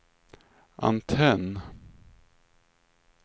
antenn